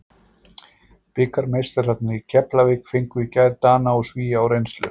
Bikarmeistararnir í Keflavík fengu í gær Dana og Svía á reynslu.